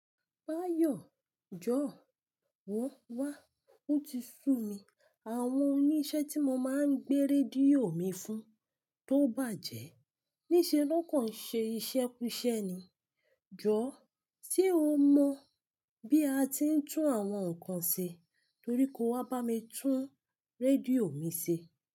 Báyọ̀, jọ̀ọ́ wọ́ wá. Ó ti sú mi. Àwọn oníṣẹ́ tí mo máa ń gbé rédíò mi fún tó bàjẹ́, níṣe ló kan ṣe iṣẹ́ kú iṣẹ́ ni. Jọ̀ọ́, ṣe o mọ̀ bí a ti ń tún àwọn nǹkan ṣe? Torí kò wá bá mi tún rédíò mi ṣe.